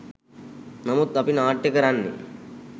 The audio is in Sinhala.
නමුත් අපි නාට්‍ය කරන්නේ